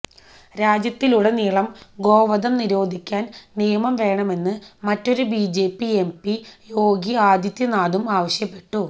രാജ്യത്തുടനീളം ഗോവധം നീരോധിക്കാൻ നിയമം വേണമെന്ന് മറ്റൊരു ബിജെപി എംപി യോഗി ആദിത്യനാഥും ആവശ്യപ്പെട്ടു